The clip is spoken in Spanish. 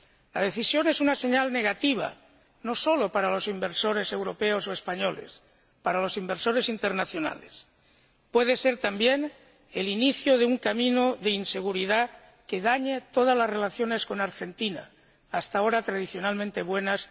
La decisión es una señal negativa, no solo para los inversores europeos o españoles y para los inversores internacionales puede ser también el inicio de un camino de inseguridad que dañe todas las relaciones entre Argentina, España y Europa, hasta ahora tradicionalmente buenas.